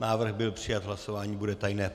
Návrh byl přijat, hlasování bude tajné.